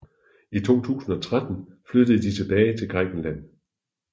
I 2013 flyttede de tilbage til Grækenland